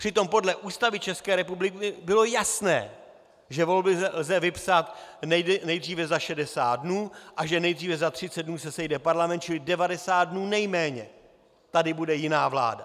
Přitom podle Ústavy České republiky bylo jasné, že volby lze vypsat nejdříve za 60 dnů a že nejdříve za 30 dnů se sejde parlament, čili 90 dnů nejméně tady bude jiná vláda.